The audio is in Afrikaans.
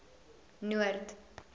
noord